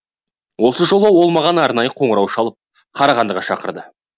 осы жолы ол маған арнайы қоңырау шалып қарағандыға шақырды